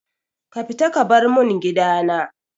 Ki fita ki bar mun gidana!